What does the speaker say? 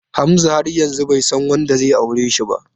Hamza har yanzu bai san wanda zai aure shi ba.